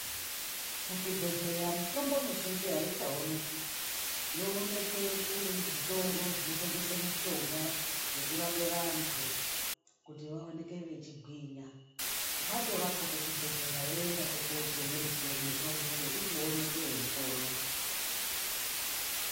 Muzvibhedhlera mitombo mizhinji aichaonekwi yoonekwe kuzvitoro zvinotengesa mishonga kungava nekurapa antu kuti vaoneke vechigwinya watorapwa kuchibhedhlera woendazve kotenga mutombo wekuti uonekwe weipona.